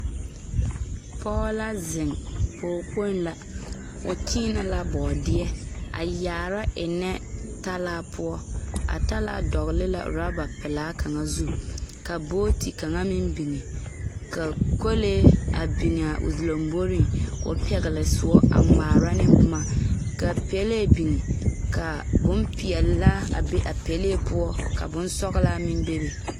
Pɔge la zeŋ, pɔge kpoŋ la. O kyeenɛ la bɔɔdeɛ, a yaara ennɛ talaa poɔ. A talaa dɔgele la oraba pelaa kaŋa zu. Ka booti kaŋa meŋ biŋi. Ka kolee a biŋ a o lamboriŋ, ka o pɛgele soɔ a ŋmaara neŋ boma. Ka pelee biŋ, ka bompeɛlaa meŋ be a pelee poɔ, ka bonsɔglaa meŋ bebe